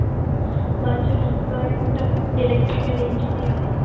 माझे husband electrical engineer आहे.